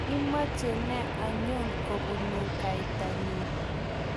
imeche ne anyon kobunu kaita nyu